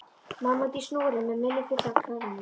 Mamma úti á snúru með munninn fullan af klemmum.